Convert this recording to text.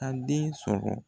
An den sɔrɔ